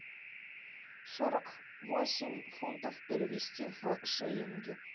сорок восемь фунтов перевести в шиллинги